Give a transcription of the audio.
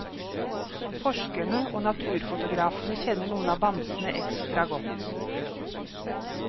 Forskerne og naturfotografene kjenner noen av bamsene ekstra godt.